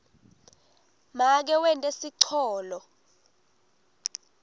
make wente sicholo